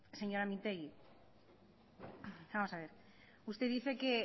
señora mintegi vamos a ver usted dice que